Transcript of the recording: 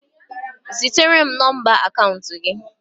Zitere m nọmba akaụntụ gị!